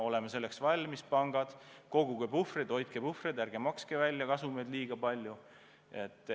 Me peame selleks valmis olema, pangad, koguge puhvreid, hoidke puhvreid, ärge makske kasumeid liiga palju välja.